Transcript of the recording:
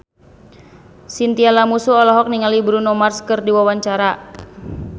Chintya Lamusu olohok ningali Bruno Mars keur diwawancara